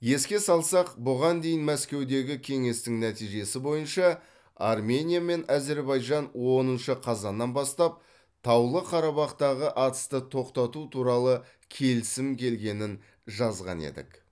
еске салсақ бұған дейін мәскеудегі кеңестің нәтижесі бойынша армения мен әзербайжан оныншы қазаннан бастап таулы қарабақтағы атысты тоқтату туралы келісім келгенін жазған едік